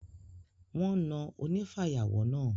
Wọ́n na onífàyàwọ́ náà.